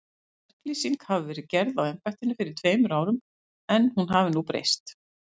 Verklýsing hafi verið gerð á embættinu fyrir tveimur árum, en hún hafi nú breyst.